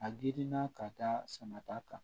A girinna ka da sama ta kan